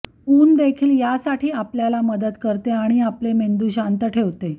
ऊन देखील या साठी आपल्याला मदत करते आणि आपले मेंदू शांत ठेवते